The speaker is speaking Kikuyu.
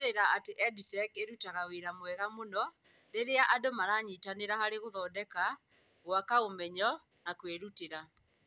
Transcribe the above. Kũũmĩrĩria atĩ EdTech ĩrutaga wĩra wega mũno rĩrĩa andũ maranyitanĩra harĩ gũthondeka, gũthondeka, gwaka ũmenyo, na kwĩrutĩra.